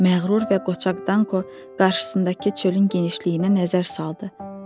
Məğrur və qoçaq Danko qarşısındakı çölün genişliyinə nəzər saldı.